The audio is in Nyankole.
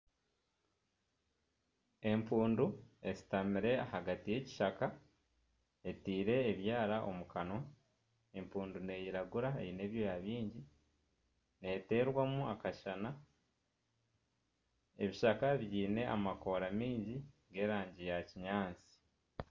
Empundu eshutamire ahagati y'ekishaka, etaire ebyara omu kanwa. Empundu n'eiragura eine ebyoya bingi. Neeterwamu akashana. Ebishaka biine amababi maingi g'erangi ya kinyaatsi.